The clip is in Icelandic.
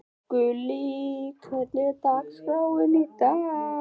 Gullý, hvernig er dagskráin í dag?